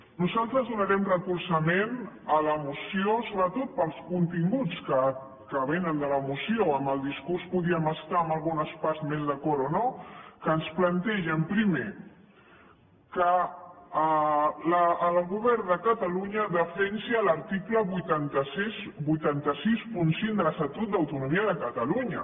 nosaltres donarem recolzament a la moció sobretot pels continguts que vénen de la moció amb el discurs podríem estar en algunes parts més d’acord o no que ens plantegen primer que el govern de catalunya defensi l’article vuit cents i seixanta cinc de l’estatut d’autonomia de catalunya